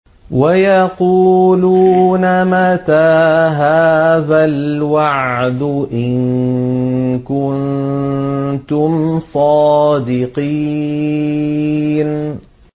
وَيَقُولُونَ مَتَىٰ هَٰذَا الْوَعْدُ إِن كُنتُمْ صَادِقِينَ